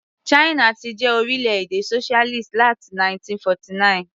China ti jẹ́ orílẹ̀-èdè socialist láti 1949.